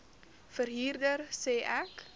verhuurder sê ek